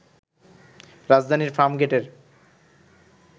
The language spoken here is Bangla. রাজধানীর ফার্মগেটের